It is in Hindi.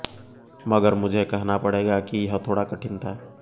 मगर मुझे कहना पड़ेगा कि यह थोड़ा कठिन था